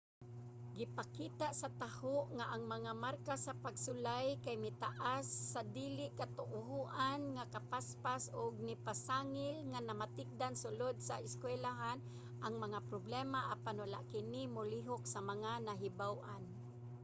gipakita sa taho nga ang mga marka sa pagsulay kay mitaas sa dili katuohan nga kapaspas ug nipasangil nga namakatikdan sulod sa eskuylahan ang mga problema apan wala kini molihok sa mga nahibaw-an